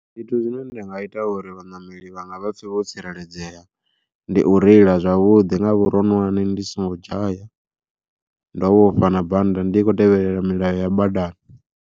Zwithu zwine nda nga ita uri vhaṋameli vhanga vha pfhe vho tsireledzea, ndi u reila zwavhuḓi nga vhuroṅwane ndi songo dzhaya ndo vhofha na bannda ndi kho tevhelela milayo ya badani.